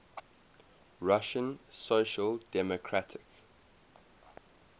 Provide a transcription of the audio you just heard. russian social democratic